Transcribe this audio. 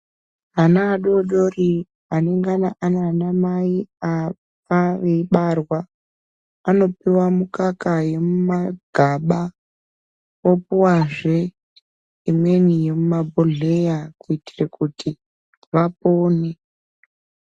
Ana adodori anengana ane ana mai afa veibarwa anopuwa mukaka yemu magaba opuwazve imweni yemuma bhodhleya kuitire kuti vapone.